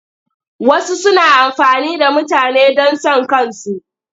Wasu suna amfani da mutane don son kansu.